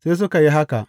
Suka yi haka.